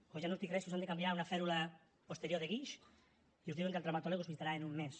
o ja no us dic re si us han de canviar una fèrula posterior de guix i us diuen que el traumatòleg us visitarà en un mes